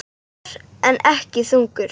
Ör, en ekki þungur.